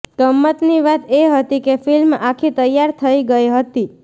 ગમ્મતની વાત એ હતી કે ફ્લ્મિ આખી તૈયાર થઈ ગઈ હતી